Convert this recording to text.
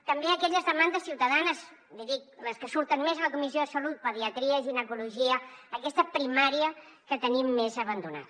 també aquelles demandes ciutadanes li dic les que surten més a la comissió de salut pediatria ginecologia aquesta primària que tenim més abandonada